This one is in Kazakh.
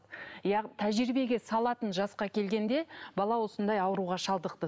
тәжірибеге салатын жасқа келгенде бала осындай ауруға шалдықты